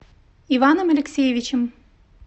иваном алексеевичем